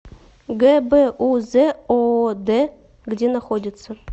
гбуз оод где находится